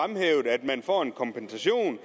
for at en kompensation